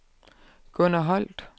Gunner Holt